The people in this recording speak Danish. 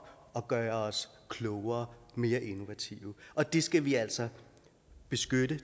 og gøre os klogere og mere innovative og det skal vi altså beskytte